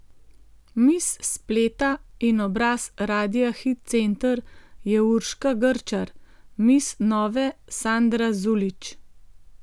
Miss spleta in obraz Radia Hit Center je Urška Grčar, miss Nove Sandra Zulić.